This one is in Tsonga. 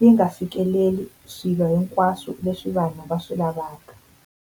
yi nga fikeleli swilo hinkwaswo leswi vanhu va swi lavaka.